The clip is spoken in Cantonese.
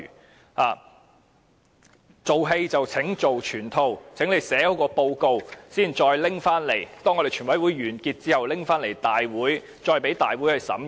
請"做戲做全套"，寫好報告。當全委會完結後，將寫好的報告提交立法會審議。